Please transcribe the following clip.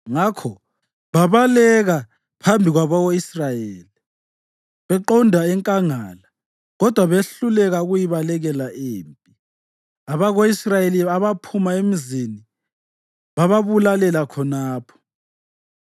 Ngakho babaleka phambi kwabako-Israyeli beqonda enkangala kodwa behluleka ukuyibalekela impi. Abako-Israyeli abaphuma emizini bababulalela khonapho.